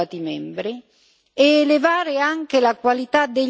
ed elevare anche la qualità degli standard.